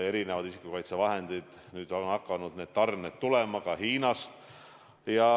Erinevate isikukaitsevahendite tarned on hakanud tulema ka Hiinast.